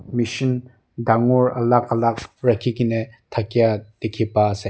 machine dangor alak alak rakhi kena thakya dekhi pa ase.